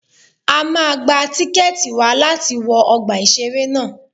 A máa gba tíkẹ̀tì wa láti wọ ọgbà ìṣẹ̀rẹ́ ná.